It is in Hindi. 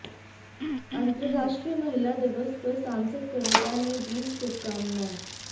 अंतराराष्ट्रीय महिला दिवस पर सांसद कविता ने दी शुभकामनाएं